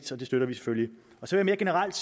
så det støtter vi selvfølgelig mere generelt